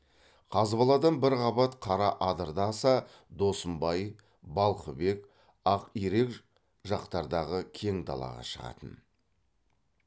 қазбаладан бір қабат қара адырды аса досымбай балқыбек ақирек жақтардағы кең далаға шығатын